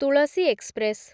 Tulsi express